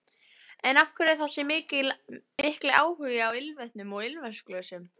En af hverju þessi mikli áhugi á ilmvötnum og ilmvatnsglösum?